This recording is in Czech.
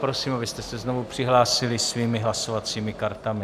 Prosím, abyste se znovu přihlásili svými hlasovacími kartami.